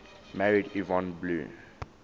married yvonne blue